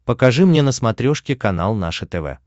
покажи мне на смотрешке канал наше тв